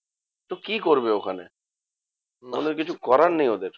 তো কি করবে ওখানে? ওদের কিছু করার নেই ওদের।